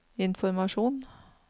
informasjon